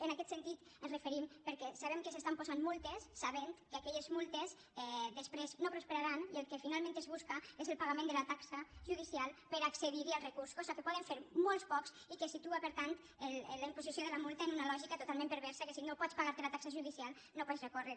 en aquest sentit ens referim perquè sabem que s’estan posant multes sabent que aquelles mutes després no prosperaran i el que finalment es busca és el pagament de la taxa judicial per accedir al recurs cosa que poden fer molt pocs i que situa per tant la imposició de la multa en una lògica totalment perversa que si no pots pagar te la taxa judicial no pots recórrer